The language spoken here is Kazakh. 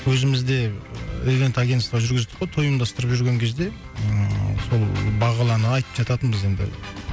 өзімізде евент агенства жүргіздік қой той ұйымдастырып жүрген кезде ммм сол бағлан айтып жататын біз енді